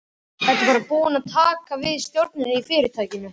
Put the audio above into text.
Ertu bara búin að taka við stjórninni í fyrirtækinu?